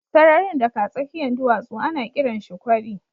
Sararin da ka tsakiyan duwatsu ana kiran shi kwari.